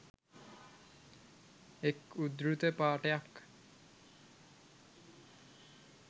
එක් උදෘත පාඨයක්